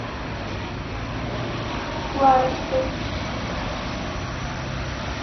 кларочкой